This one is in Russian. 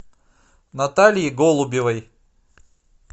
наталье голубевой